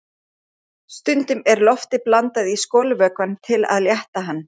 Stundum er lofti blandað í skolvökvann til að létta hann.